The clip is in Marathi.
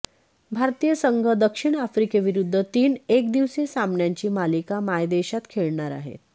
भारतीय संघ दक्षिण आफ्रिकेविरुद्ध तीन एकदिवसीय सामन्यांची मालिका मायदेशात खेळणार आहे